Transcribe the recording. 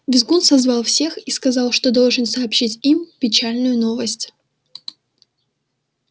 визгун созвал всех и сказал что должен сообщить им печальную новость